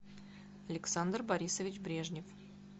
александр борисович брежнев